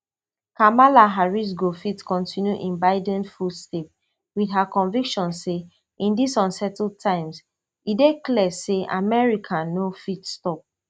kamala harrisgo fit continue in biden footsteps wit her conviction say in dis unsettled times e dey clear say america no fit stop